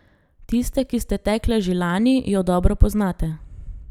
Tiste, ki ste tekle že lani, jo dobro poznate.